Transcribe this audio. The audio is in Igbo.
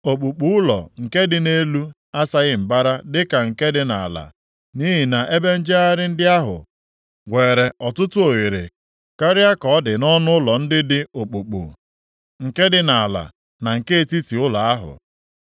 Okpukpu ụlọ nke dị nʼelu asaghị mbara dịka nke dị nʼala, nʼihi na ebe njegharị ndị ahụ weere ọtụtụ oghere karịa ka ọ dị nʼọnụụlọ ndị dị okpukpu nke dị nʼala na nke etiti ụlọ ahụ.